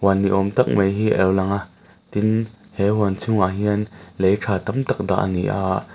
ni awm tak mai hi a lo lang a tin he huan chhungah hian lei tha tam tak dah a ni a.